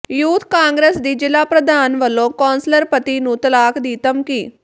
youth Congress ਦੀ ਜ਼ਿਲ੍ਹਾ ਪ੍ਰਧਾਨ ਵੱਲੋਂ ਕੌਂਸਲਰ ਪਤੀ ਨੂੰ ਤਲਾਕ ਦੀ ਧਮਕੀ